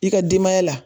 I ka denbaya la